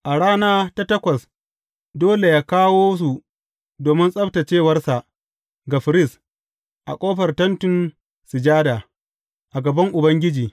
A rana ta takwas dole yă kawo su domin tsabtaccewarsa ga firist a ƙofar Tentin Sujada, a gaban Ubangiji.